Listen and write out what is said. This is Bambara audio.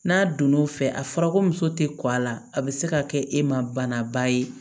N'a donn'o fɛ a fɔra ko muso tɛ kɔ a la a bɛ se ka kɛ e ma banaba ye